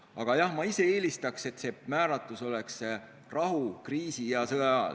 Aga jah, ma ise eelistaks, et jutt oleks rahu-, kriisi- ja sõjaajast.